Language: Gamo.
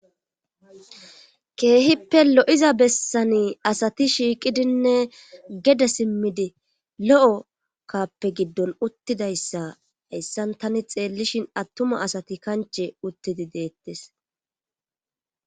keehippe lo'iza bessani asati shiiqidinne gede simmidi lo7o kappe giddon uttidayssa hayssan tani xeellishin attuma asati kanche uttidi deettes